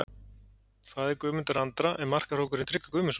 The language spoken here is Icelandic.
Faðir Guðmundar Andra er markahrókurinn Tryggvi Guðmundsson.